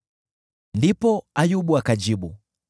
Ndipo Ayubu akajibu: